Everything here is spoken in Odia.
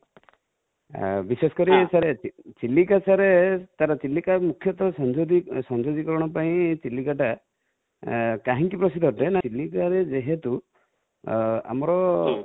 ବିଶେଷ କରି ଚିଲିକା sir ପାଇଁ ମୁଖ୍ୟତ ସଞ୍ଜଗୀକରଣ ଚିଲିକା ଟା, କାହିଁ କି ପ୍ରସିଦ୍ଧ ଅଟେ, ନା ଚିଲିକା ରେ ଯେହେତୁ ଆମର